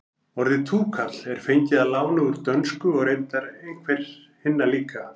orðið túkall er fengið að láni úr dönsku og reyndar einhver hinna líka